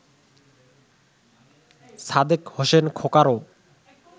Sadek Hossain খোকারও